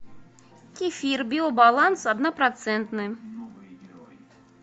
кефир биобаланс однопроцентный